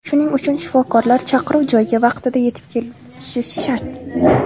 Shuning uchun shifokorlar chaqiruv joyiga vaqtida yetib borishi shart.